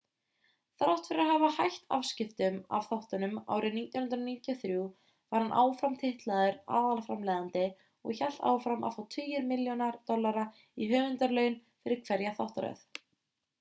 þrátt fyrir að hafa hætt afskiptum af þáttunum árið 1993 var hann áfram titlaður aðalframleiðandi og hélt áfram að fá tugir milljóna dollara í höfundarlaun fyrir hverja þáttaröð